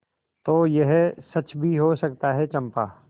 तो यह सच भी हो सकता है चंपा